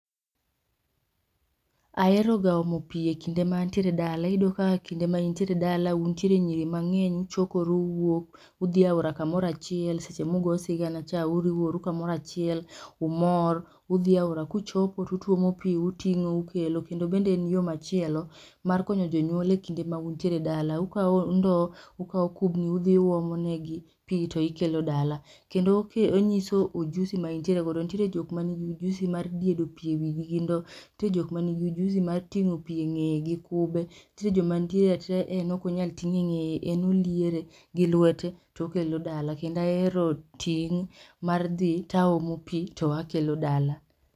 Ahero ga omo pi e kinde ma antiere dala. Iyudo ka e kind ma intiere dala untiere nyiri mang'eny, uchokoru uwuok udhi e aora kamoro achiel seche mugo sigana cha uriworu kumora achiel, umor udhi aora kuchopo tutwomo pi uting'o ukelo kendo bende en yo machielo mar konyo jonyuol e kinde ma untiere dala. Ukaw ndo, ukaw kubni udhi uomonegi pii to ikelo dala kendo onyiso ojusi ma intiere go, nitiere jok ma nigi ojusi mar diedo pii e wigi gi ndo, nitie jok ma nigi ujuzi mar ting'o pii eng'eye gi kube, nitiere jo ma nitiere atiera en ok onyal ting'e e ng'eye en oliere gi lwete tokelo dala kendo ahero ting' mar dhi taomo pii to akelo dala